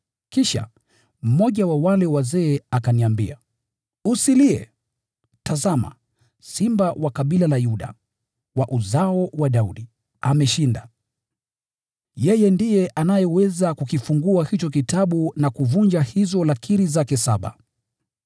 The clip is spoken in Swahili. Kisha, mmoja wa wale wazee akaniambia, “Usilie! Tazama, Simba wa kabila la Yuda, wa Uzao wa Daudi, ameshinda. Yeye ndiye anayeweza kukifungua hicho kitabu na kuvunja hizo lakiri zake saba.”